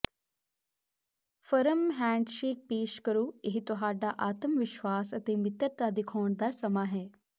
firm handshake ਪੇਸ਼ ਕਰੋ ਇਹ ਤੁਹਾਡਾ ਆਤਮਵਿਸ਼ਵਾਸ ਅਤੇ ਮਿੱਤਰਤਾ ਦਿਖਾਉਣ ਦਾ ਸਮਾਂ ਹੈ